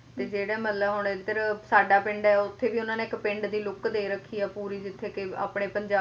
ਤੇ ਜਿਹੜੇ ਮਤਲਬ ਹੁਣ ਇਧਰ ਸਾਡਾ ਪਿੰਡ ਆ ਉੱਥੇ ਵੀ ਉਹਨਾਂ ਨੇ ਇੱਕ ਪਿੰਡ ਦੀ look ਦੇ ਰੱਖੀ ਆ ਪੂਰੀ ਜਿੱਥੇ ਕੇ ਆਪਣੇ ਪੰਜਾਬੀ ਪਹਿਰਾਵਾ